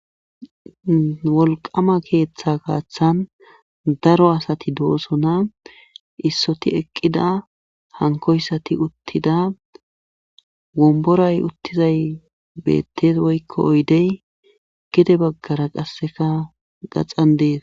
Wolqqaama keeththaa gaathan daro asati doosona issoti eqqida hankkoysati uttida wombbaray uttizay beettes woykko oydey gede baggara qassikka gaxan des.